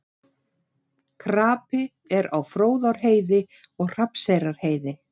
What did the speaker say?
Krapi er á Fróðárheiði og Hrafnseyrarheiði